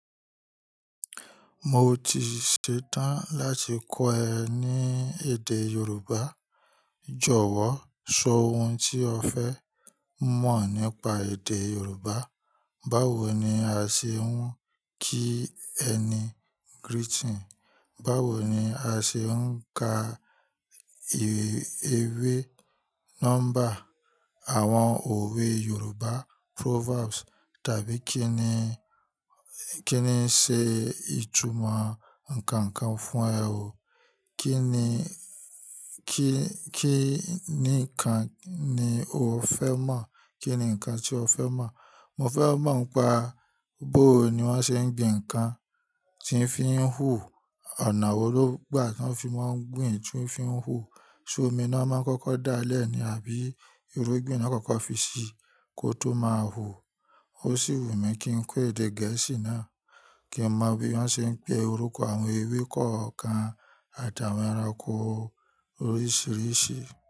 Mo ti ṣetán láti kọ́ ẹ ní èdè Yorùbá. Jọ̀wọ́ sọ ohun tí o fẹ́ mọ̀ nípa èdè Yorùbá. Báwo ni a ṣe ń kí ẹni greeting, báwo ni a ṣe ń ka ewé nọ́mbà àwọn òwe Yorùbá proverbs tàbí kí ni, kí ni ṣe ìtumọ̀ nǹkan kan fún ẹ o. Kí ni, kí ní kan ni o fẹ́ mọ̀? Kí ni nǹkan tí o fẹ́ mọ̀? Mo fẹ́ mọ̀ pé bó ni wọ́n ṣe ń gbin nǹkan tí ń fín hú. Ọ̀nà wo ló gbà tí wọ́n fi máa ń gbin tí ó fín hú. Ṣé omi ni wọ́n máa ń kọ́kọ́ dá lẹ̀ ní àbí irúgbìn ni wọ́n kọ́kọ́ fi sí kó tó máa hú? Ó sì wù mí kí n kọ́ èdè gẹ̀ẹ́sì náà, kí mọ bí wọ́n ṣe ń pe orúkọ àwọn ewé kọ̀ọ̀kan àtàwọn ẹranko oríṣìíríṣìí.